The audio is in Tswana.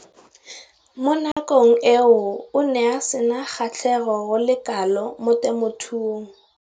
Mo nakong eo o ne a sena kgatlhego go le kalo mo temothuong.